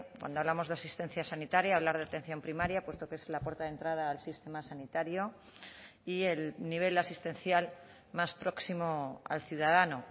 cuando hablamos de asistencia sanitaria hablar de atención primaria puesto que es la puerta de entrada al sistema sanitario y el nivel asistencial más próximo al ciudadano